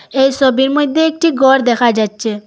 এই সবির মইধ্যে একটি ঘর দেখা যাচ্ছে।